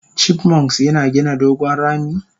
chipmunks yina gina dogon rami?